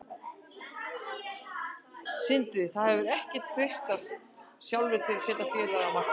Sindri: Þið hafið ekkert freistast sjálfir til að setja félagið á markað?